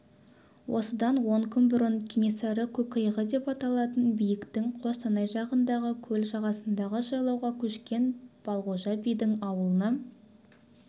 осыдан он күн бұрын кенесары көкиығы деп аталатын биіктің қостанай жағындағы көл жағасындағы жайлауға көшкен балғожа бидің ауылына